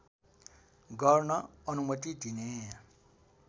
गर्न अनुमती दिने